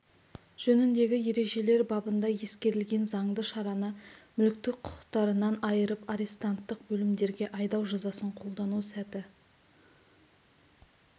жөніндегі ережелердің бабында ескерілген заңды шараны мүліктік құқтарынан айырып арестанттық бөлімдерге айдау жазасын қолдану сәті